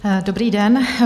Dobrý den.